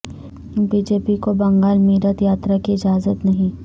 B J پی کو بنگال میںرتھ یاترا کی اجازت نہیں